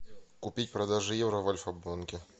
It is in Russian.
купить продажа евро в альфа банке